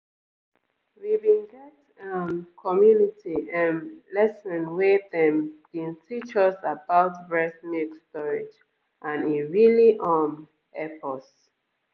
we bin get um community ehm lesson where dem bin teach us about breast milk storage and e really um hep us.